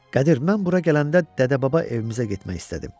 Qədir, mən bura gələndə dədə-baba evimizə getmək istədim.